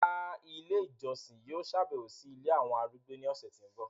Rárá, ìlé ijọsin yóò ṣabẹwo si ìlé awọn arúgbó ni ọsẹ ti n bọ